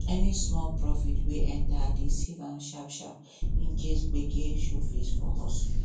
any small profit wey enter i dey save am sharpsharp in case gbege show face for hustle